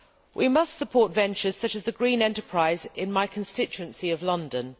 We must support ventures such as the green enterprise in my constituency of London.